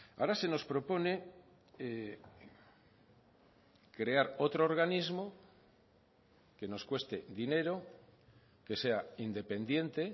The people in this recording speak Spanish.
ahora se nos propone crear otro organismo que nos cueste dinero que sea independiente